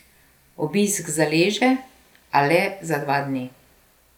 Obisk zaleže, a le za dva dni.